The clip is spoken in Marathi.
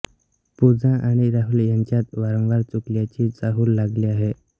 पूजा आणि राहुल यांच्यात वारंवार चुकल्याची चाहूल लागली आहे